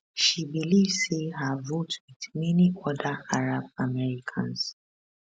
she believe say her vote wit many oda arab americans